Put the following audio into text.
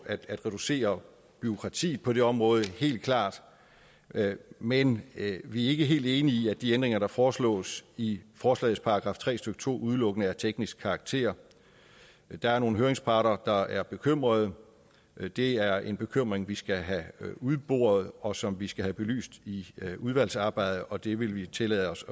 at reducere bureaukratiet på det område helt klart men vi er ikke helt enige i at de ændringer der foreslås i forslagets § tre stykke to udelukkende er af teknisk karakter der er nogle høringsparter der er bekymrede det det er en bekymring vi skal have udboret og som vi skal have belyst i udvalgsarbejdet og det vil vi tillade os